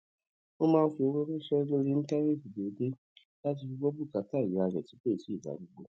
ó máa ń fi owó ránṣé lórí íńtánéètì déédéé láti fi gbó bùkátà ìyá rè tó ti darúgbó